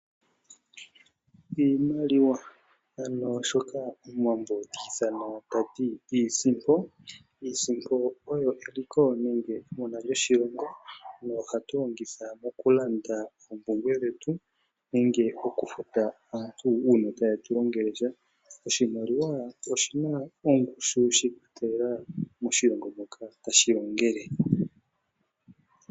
Iimaliwa ano shoka Omuwambo ti ithana tati iisimpo. Iisimpo oyo eliko lyoshilongo, nohatu yi longitha mokulanda oompumbwe dhetu nenge omufuta aantu uuna taye tu longele sha. Oshimaliwa oshina ongushu shi ikwatelela moshilongo moka tashi longele.